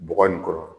Bɔgɔ in kɔrɔ